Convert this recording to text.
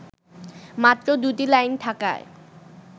মাত্র দুটি লাইন থাকায়